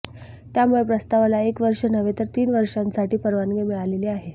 त्यामुळे प्रस्तावाला एक वर्ष नव्हे तर तीनच वर्षासाठी परवानगी मिळालेली आहे